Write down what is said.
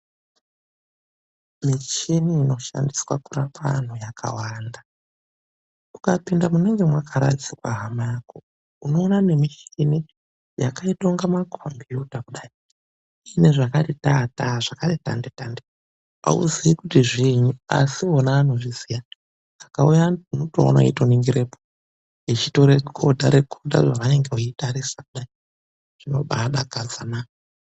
Michini inoshandiswa kurapa antu yakawanda. Ukapinda munenge makaradzikwa hama yako, unoona michini yakasiyana siyana. Unenge usiri kuzwisisa asi madhokodheya anenge eitozvizwisisa zvinenge zveiitika. .